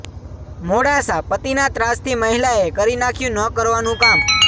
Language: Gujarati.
મોડાસાઃ પતિના ત્રાસથી મહિલાએ કરી નાખ્યું ન કરવાનું કામ